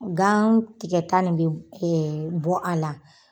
Gan tigɛta nin be b bɔ a la